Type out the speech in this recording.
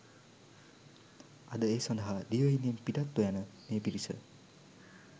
අද ඒ සඳහා දිවයිනෙන් පිටත්ව යන මේ පිරිස